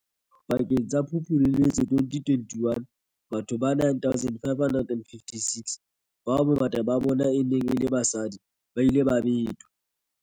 Pakeng tsa Phupu le Loetse 2021, batho ba 9 556, bao bongata ba bona e neng e le basadi, ba ile ba betwa.